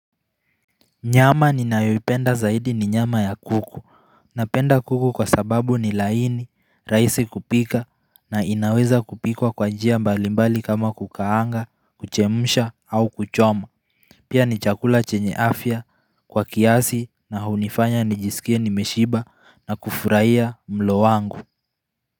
Nyama ni nayoipenda zaidi ni nyama ya kuku. Napenda kuku kwa sababu ni laini, raisi kupika na inaweza kupikwa kwa njia mbalimbali kama kukaanga, kuchemusha au kuchoma. Pia ni chakula chenye afya kwa kiasi na hunifanya ni jisikie nimeshiba na kufurahiya mlo wangu.